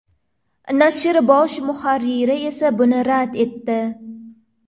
Nashr bosh muharriri esa buni rad etdi.